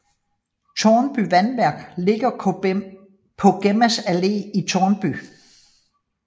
Tårnby Vandværk ligger på Gemmas Allé i Tårnby